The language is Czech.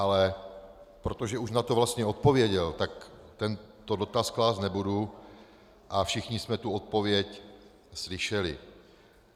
Ale protože už na to vlastně odpověděl, tak tento dotaz klást nebudu a všichni jsme tu odpověď slyšeli.